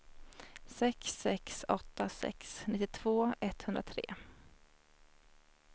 sex sex åtta sex nittiotvå etthundratre